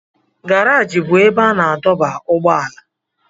Garajị bụ ebe a na-adọba ụgbọala